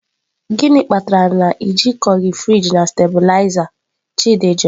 "Gịnị kpatara na ị jikọghị friji na stabiliza?”, Chidi jụrụ.